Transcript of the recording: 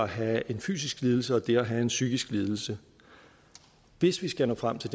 have en fysisk lidelse og det at have en psykisk lidelse hvis vi skal nå frem til